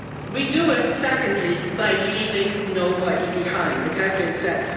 We do it, secondly, by leaving nobody behind, it has been said